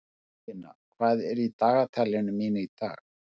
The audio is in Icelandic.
Sumarlína, hvað er í dagatalinu mínu í dag?